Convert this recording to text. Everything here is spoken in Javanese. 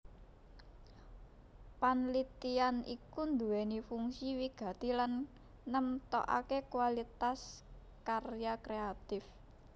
Panlitian iku nduwèni fungsi wigati lan nemtokaké kualitas karya kréatif